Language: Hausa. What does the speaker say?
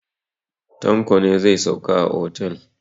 Tanlo ne zai sauka a otel.